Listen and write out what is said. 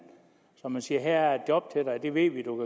kunne sige her er der et job til dig og det ved vi du